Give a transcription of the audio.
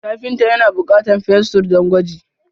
Kafinta ya na bukatar fensir don gwaji.